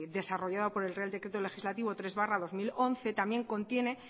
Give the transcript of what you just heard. desarrollado por el real decreto legislativo tres barra dos mil once también contiene